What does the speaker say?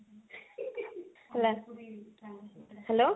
hello